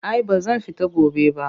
Ai ba zan fita gobe ba